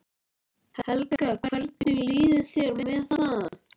Helga: Hvernig líður þér með það?